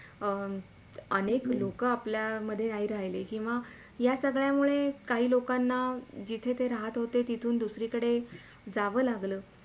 अं अनेक लोक आपल्यामध्ये नाय राहिले किंवा या संगळ्यामुळे काही लोकांना जिथे ते राहत होते तिथून दुसरीकडे जावं लागल